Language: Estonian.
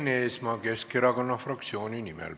Enn Eesmaa Keskerakonna fraktsiooni nimel.